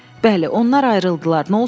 Bəli, onlar ayrıldılar.